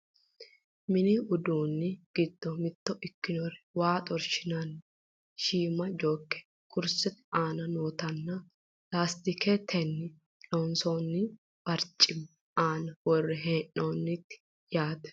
mini uduunni giddo mitto kkinori waa xorshi'nanniti shiima jooke kursete aana nootanna laastiketenni loonsoonni barcimi aana worre hee'noonnite yaate .